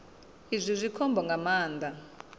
izwi zwi khombo nga maanḓa